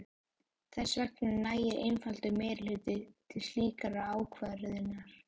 Þess vegna nægir einfaldur meirihluti til slíkrar ákvörðunar.